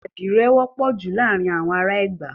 Àdìrẹ wọ́pọ̀ júlọ láàrín àwọn ará Ẹ̀gbá.